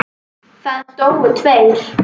Það dóu tveir.